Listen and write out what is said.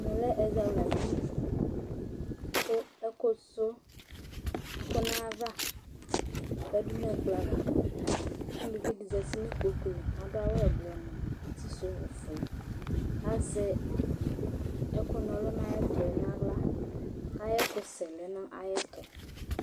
Ɛmɛ lɛ ɛzawladini kʋ ɛkʋsʋ ɛkʋ nʋ ayava yǝdu nʋ ɛkplɔ ava Uluvi dɩ zati nʋ ikpoku li Adʋ awʋ ɛblɔ nʋ uti sʋ ofue kʋ azɛ ɛkʋna ɔlʋ nʋ ayʋ ɛtʋ yɛ nʋ aɣla kʋ ayʋ ɛkʋsɛ lɛ nʋ ayɛtʋ